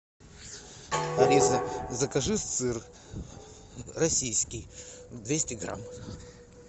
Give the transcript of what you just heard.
алиса закажи сыр российский двести грамм